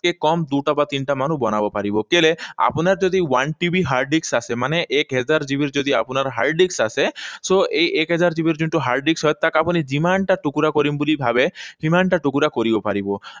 কে কম দুটা বা তিনিটামানো বনাব পাৰিব। কেলে আপোনাৰ যদি one TB hard disk আছে, মানে এক হাজাৰ GB ৰ যদি আপোনাৰ hard disk আছে, so, এই এক হাজাৰ GB ৰ যিটো hard disk হয়, তাক আপুনি যিমানটা টুকুৰা কৰিম বুলি ভাবে, সিমানটা টুকুৰা কৰিব পৰিব।